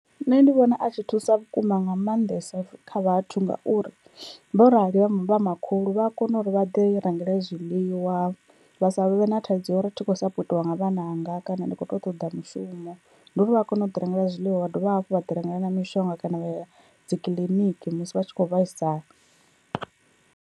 Nṋe ndi vhona a tshi thusa vhukuma nga maanḓesa kha vhathu, ngauri vho arali vho makhulu vha a kona uri vha ḓi rangele zwiḽiwa, vha savhe na thaidzo ya uri thikho sapotiwa nga vhananga kana ndi kho to ṱoḓa mushumo, ndi uri vha kona u ḓi rengela zwiḽiwa wa dovha hafhu vha ḓi rengela mishonga kana vha ya dzikiḽiniki musi vha tshi kho vhaisala.